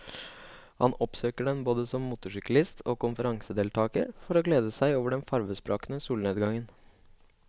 Han oppsøker den både som motorsyklist og konferansedeltager for å glede seg over den farvesprakende solnedgangen.